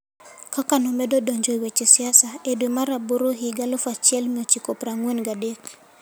Kaka nomedo donjo e weche siasa, e dwe mar aboro higa 1943,